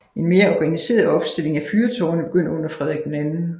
En mere organiseret opstilling af fyrtårne begyndte under Frederik 2